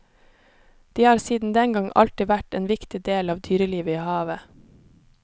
De har siden den gang alltid vært en viktig del av dyrelivet i havet.